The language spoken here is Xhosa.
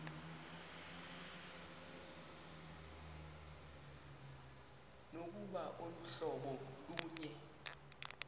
nokuba aluhlobo lunye